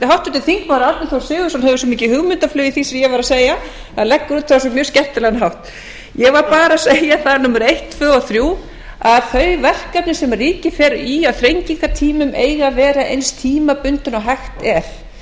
háttvirtur þingmaður árni þór sigurðsson hefur svo mikið hugmyndaflug í því sem ég var að segja hann leggur það upp á mjög skemmtilegan hátt ég bað númer eitt tvö og þrjú að þau verkefni sem ríkið fer í á þrengingartímum eigi að vera eins tímabundin og hægt er